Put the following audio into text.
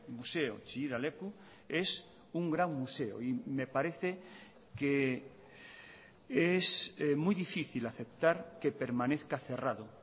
museo chillida leku es un gran museo y me parece que es muy difícil aceptar que permanezca cerrado